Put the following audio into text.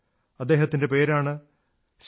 അദ്ദേഹത്തിന്റെ പേരാണ് ശ്രീ